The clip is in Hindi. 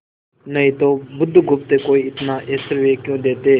नहीं तो बुधगुप्त को इतना ऐश्वर्य क्यों देते